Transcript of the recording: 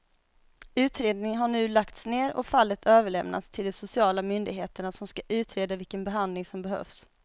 Utredningen har nu lagts ner och fallet överlämnats till de sociala myndigheterna som ska utreda vilken behandling som behövs.